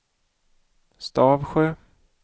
Stavsjö